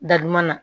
Da duman na